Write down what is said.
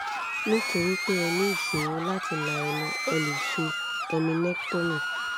nítorí pé ẹ ní ìṣòro láti la ẹnu a lè ṣe eminectomy